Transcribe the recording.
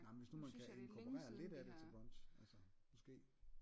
Nej men hvis nu man kan inkorporere lidt af det til brunch altså måske